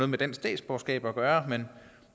med dansk statsborgerskab at gøre men